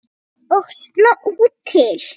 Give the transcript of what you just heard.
Og sló til.